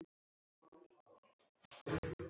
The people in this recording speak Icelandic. Öll jákvæð orð.